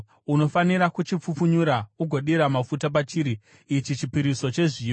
Unofanira kuchipfupfunyura ugodira mafuta pachiri; ichi chipiriso chezviyo.